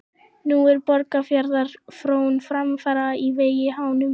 Nú er Borgarfjarðar frón framfara á vegi háum.